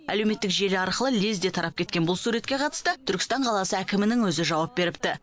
әлеуметтік желі арқылы лезде тарап кеткен бұл суретке қатысты түркістан қаласы әкімінің өзі жауап беріпті